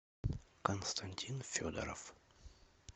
константин федоров